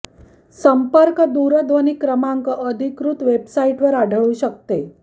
संपर्क दूरध्वनी क्रमांक अधिकृत वेबसाईट वर आढळू शकते